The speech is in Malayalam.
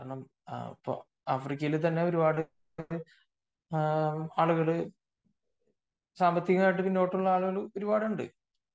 കാരണം ആഫ്രിക്കയിൽ തന്നെ ഒരുപാട് ആളുകൾ സാമ്പത്തികമായിട്ടുള ഒരുപാട് ആളുകൾ ഉണ്ട്